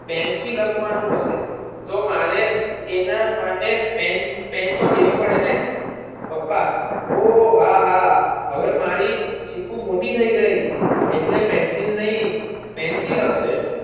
પેનથી લખવાનું હશે તો મારે એના માટે પેન પેન તો લેવી પડેને પપ્પા ઓહ હા હા હવે મારી ચીકુ મોટી થાય ગઈ એટલે Pencil નહિ પેનથી લખશે.